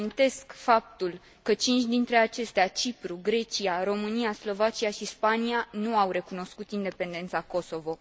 Reamintesc faptul că cinci dintre acestea, Cipru, Grecia, România, Slovacia și Spania, nu au recunoscut independența Kosovo.